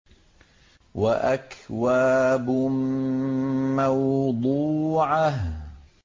وَأَكْوَابٌ مَّوْضُوعَةٌ